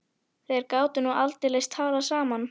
Þeir gátu nú aldeilis talað saman.